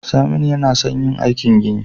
Saminu yAna son yin aikin gini